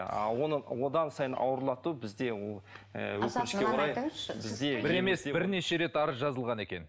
а оны одан сайын ауырлату бізде ыыы өкінішке орай бізде бір емес бірнеше рет арыз жазылған екен